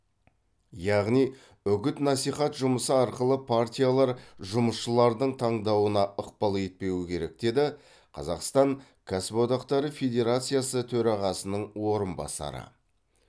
яғни үгіт насихат жұмысы арқылы партиялар жұмысшылардың таңдауына ықпал етпеуі керек деді қазақстан кәсіподақтары федерациясы төрағасының орынбасары